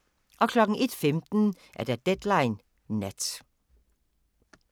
01:15: Deadline Nat